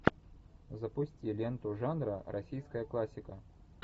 запусти ленту жанра российская классика